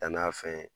Dann'a fɛn